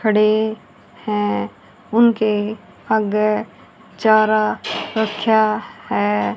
खड़े हैं उनके आगे चारा रखा है।